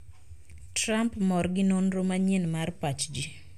Trump mor gi nonro manyien mar pach ji